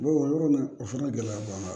o yɔrɔ la o fana gɛlɛya b'an kan